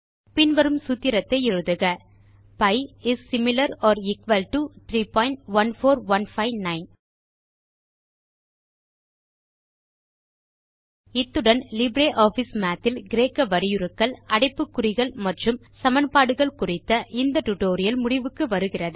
பின்வரும் சூத்திரத்தை எழுதுக pi is similar or equal to 314159 இத்துடன் லிப்ரியாஃபிஸ் மாத் இல் கிரேக்க வரியுருக்கள் அடைப்புக்குறிகள் மற்றும் சமன்பாடுகள் குறித்த இந்த டுடோரியல் முடிவுக்கு வருகிறது